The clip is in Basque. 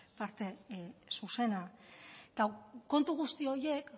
parte zuzenak eta kontu guzti horiek